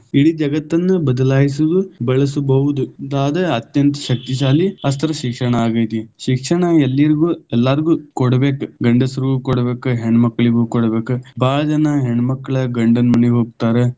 ಇಡೀ ಜಗತ್ತನ್ನ ಬದಲಾಯಿಸಿದು ಬಳಸಬಹುದು ಆದ ಅತ್ಯಂತ ಶಕ್ತಿಶಾಲಿ ಆಸ್ತ್ರಿ ಶಿಕ್ಷಣ ಆಗೈತಿ, ಶಿಕ್ಷಣ ಎಲ್ಲರಿಗೂ ಎಲ್ಲಾಗು೯ ಕೊಡಬೇಕ, ಗಂಡಸ್ರುಗೂ ಕೊಡಬೇಕ, ಹೆಣ್ಣು ಮಕ್ಕಳಿಗೂ ಕೊಡಬೇಕ, ಬಹಳ ಜನ ಹೆಣ್ಣು ಮಕ್ಕಳ ಗಂಡನ ಮನಿಗೆ ಹೋಗ್ತಾರ.